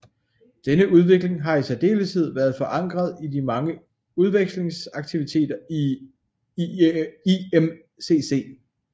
Denne udvikling har i særdeleshed været forankret i de mange udvekslingsaktiviteter i IMCC